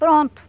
Pronto.